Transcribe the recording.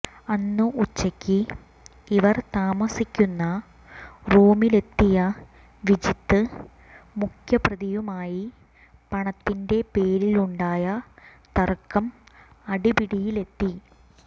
അന്ന് ഉച്ചക്ക് ഇവർ താമസിക്കുന്ന റൂമിലെത്തിയ വിജിത്ത് മുഖ്യ പ്രതിയുമായി പണത്തിന്റെ പേരിലുണ്ടായ തർക്കം അടിപിടിയിലെത്തി